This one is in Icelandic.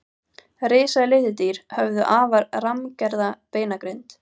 risaletidýr höfðu afar rammgerða beinagrind